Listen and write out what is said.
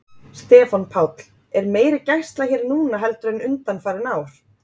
Stefán Páll: Er meiri gæsla hér núna heldur en undanfarin ár?